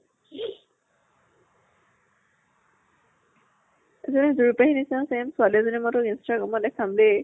এজনী যুৰি পেহী নিছিনা same ছোৱালী মই তোক instagram ত দেখাম দে ।